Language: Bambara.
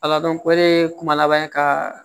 Ala dɔn ko ne ye kuma laban ka